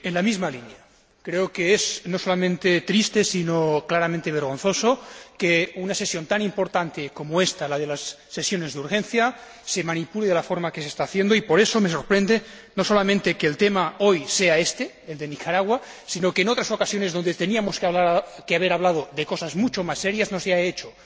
Señor Presidente, en la misma línea, creo que es no solamente triste sino claramente vergonzoso, que una sesión tan importante como ésta, la de las sesiones de urgencia, se manipule de la forma en la que se está haciendo, y por eso me sorprende no solamente que el tema, hoy, sea éste, el de Nicaragua, sino que en otras ocasiones en las que teníamos que haber hablado de cosas mucho más serias no se haya hecho.